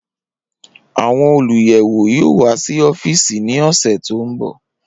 Awọn oluyẹwo yoo wa si ọfiisi ni ọsẹ to nbọ.